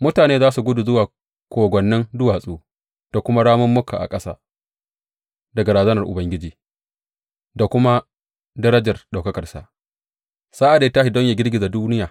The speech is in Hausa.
Mutane za su gudu zuwa kogwannin duwatsu da kuma ramummuka a ƙasa daga razanar Ubangiji da kuma darajar ɗaukakarsa, sa’ad da ya tashi don yă girgiza duniya.